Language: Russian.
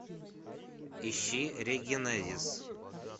ищи регенезис